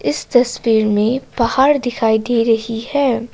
इस तस्वीर में पहाड़ दिखाई दे रही है।